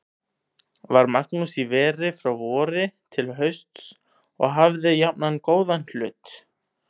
Var Magnús í veri frá vori til hausts og hafði jafnan góðan hlut.